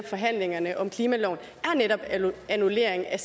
forhandlingerne om klimaloven er netop annullering af